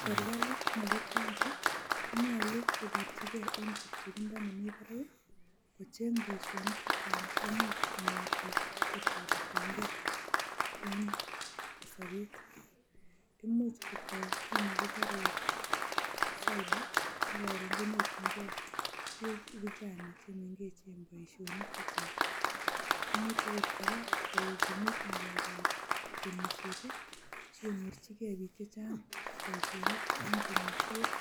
Serkalit nebo county konyolu koborchige en chepchebindo nemi barak kocheng boisionik che chang cheimuch konyor biik sikotoretenge en sobet. Imuch kotoo kit nekibore cyber ak koron konyorjinge vijana chemengechen boisionik chechang. Imuch ogot kora kogimit ng'alekap temishet, sikonyorjike biik che chang boisionik en temisiet